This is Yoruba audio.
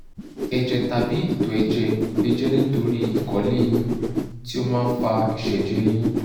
ẹ̀jẹ̀ tàbí itọ́ ẹ̀jẹ̀ lè jẹ́ nítorí ìkọ̀lé eyin tí ó máa ń fa ìṣẹ̀jẹ̀ eyin